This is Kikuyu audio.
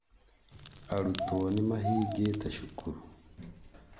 Arutwo nĩmahingĩte cukuru